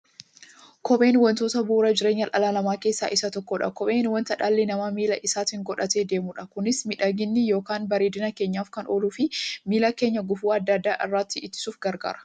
Kopheen wantoota bu'uura jireenya dhala namaa keessaa isa tokkodha. Kopheen wanta dhalli namaa miilla isaatti godhatee deemudha. Kunis miidhagani yookiin bareedina keenyaf kan ooluufi miilla keenya gufuu adda addaa irraa ittisuuf gargaara.